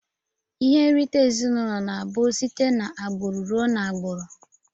Ihe nrite ezinụlọ na abu site na agburu rụọ na agburu.